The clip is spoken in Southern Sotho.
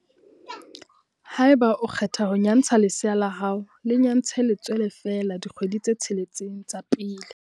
Haeba o kgetha ho nyantsha lesea la hao, le nyantshe letswele feela dikgwedi tse tsheletseng tsa pele.